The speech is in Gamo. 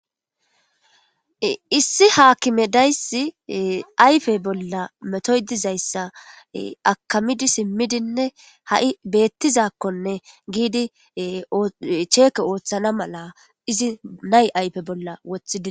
Issi haakime dayssi ayfe bolla metoy dizayssa akamidi simmidinne ha'i beettizakkonne giidi cheeke ooththana mala izi nay ayfe bolla wothidini.